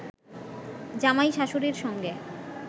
জামাই শাশুড়ীর সঙ্গে